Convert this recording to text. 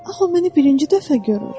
Aha, o məni birinci dəfə görür.